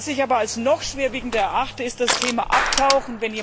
Was ich aber als noch schwerwiegender erachte, ist das Thema Abtauchen.